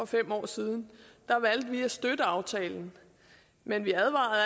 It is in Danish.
fem år siden valgte vi at støtte aftalen men vi advarede